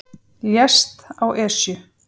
Lést á Esju